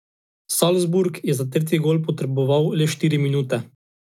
Salzburg je za tretji gol potreboval le štiri minute.